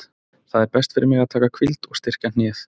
Það er best fyrir mig að taka hvíld og styrkja hnéð.